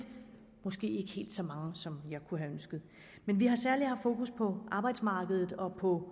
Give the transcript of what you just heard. måske ikke helt så mange som jeg kunne have ønsket vi har særlig haft fokus på arbejdsmarkedet og på